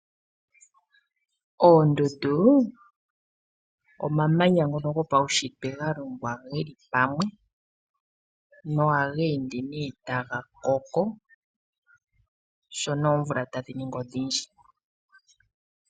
Oondundu omamanya ngono gopaushitwe ngono galongwa geli pamwe nohaga ende ne taga koko shono oomvula tadhi ningi odhindji.